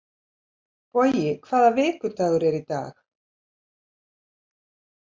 Bogi, hvaða vikudagur er í dag?